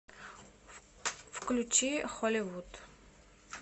включи холивуд